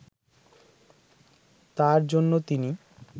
তার জন্য তিনি